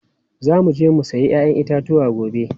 Za mu je mu sayi 'ya'yan itatuwa gobe.